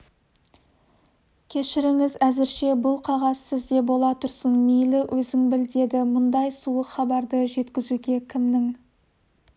кешіріңіз әзірше бұл қағаз сізде бола тұрсын мейлі өзің біл деді мұндай суық хабарды жеткізуге кімнің